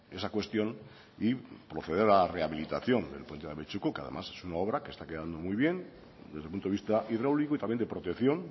esa cuestión y proceder a la rehabilitación del puente de abetxuko que además es una obra que está quedando muy bien desde el punto de vista hidráulico y también de protección